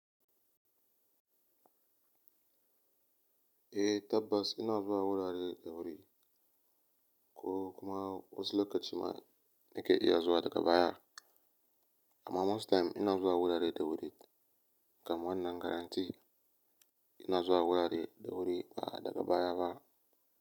Eh tabbas ina zuwa wurare da wuri ko kuma wasu lokaci ma na iya zuwa daga baya. Amma most time ina zuwa wurare da wuri kam wannan guarantee ina zuwa wurare da wuri ba daga baya ba.